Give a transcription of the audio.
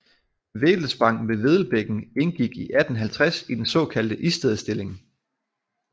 Vedelspang med Vedelbækken indgik i 1850 i den såkaldte Istedstilling